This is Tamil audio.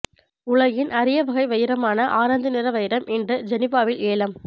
உலகின் அரிய வகை வைரமான ஆரஞ்சு நிற வைரம் இன்று ஜெனிவாவில் ஏலம்